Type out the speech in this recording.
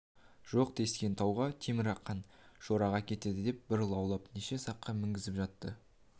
жоқ тескен тауға темірқан шораға кетеді деп бір лаулап неше саққа мінгізіп жатты